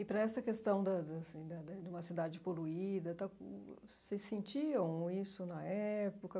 E para essa questão da da assim da da de uma cidade poluída, vocês sentiam isso na época?